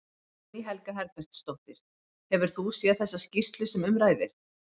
Guðný Helga Herbertsdóttir: Hefur þú séð þessa skýrslu sem um ræðir?